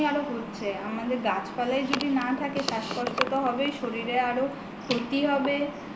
আরো হচ্ছে আমাদের গাছপালাই যদি না থাকে শ্বাসকষ্ট তো হবেই শরীরে আরো ক্ষতি হবে